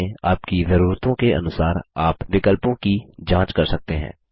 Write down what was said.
बाद में आपकी जरूरतों के अनुसार आप विकल्पों की जाँच कर सकते हैं